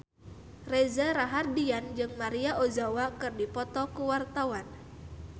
Reza Rahardian jeung Maria Ozawa keur dipoto ku wartawan